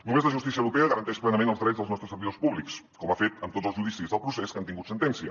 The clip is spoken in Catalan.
només la justícia europea garanteix plenament els drets dels nostres servidors públics com ha fet en tots els judicis del procés que han tingut sentència